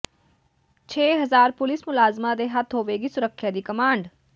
ਛੇ ਹਜ਼ਾਰ ਪੁਲਿਸ ਮੁਲਾਜ਼ਮਾਂ ਦੇ ਹੱਥ ਹੋਵੇਗੀ ਸੁਰੱਖਿਆ ਦੀ ਕਮਾਂਡ